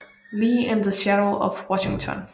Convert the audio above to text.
Lee in the Shadow of Washington